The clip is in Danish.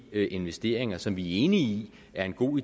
investeringer som vi er enige i er en god